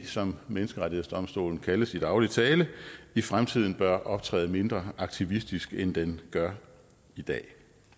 som menneskerettighedsdomstolen kaldes i daglig tale i fremtiden bør optræde mindre aktivistisk end den gør i dag